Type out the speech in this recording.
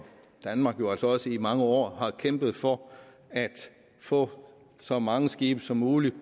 danmark i mange år har kæmpet for at få så mange skibe som muligt